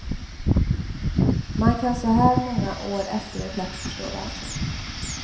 Man kan så här många år efteråt lätt förstå varför.